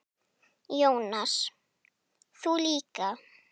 Jónas: Þú líka?